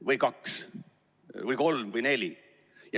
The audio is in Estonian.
– või kaks või kolm või neli.